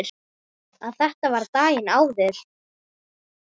Að þetta var daginn áður.